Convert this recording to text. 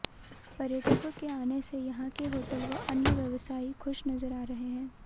पर्यटकों के आने से यहां के होटल व अन्य व्यवसायी खुश नजर आ रहे हैं